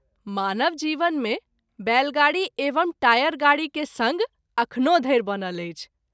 मानव जीवन मे बैलगाड़ी एवं टायर गाड़ी के संग अखनो धरि बनल अछि।